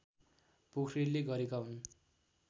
पोख्रेलले गरेका हुन्